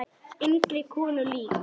Engri konu lík.